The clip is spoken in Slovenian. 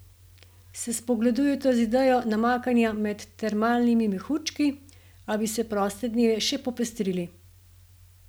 Se spogledujete z idejo namakanja med termalnimi mehurčki, a bi si proste dneve še popestrili?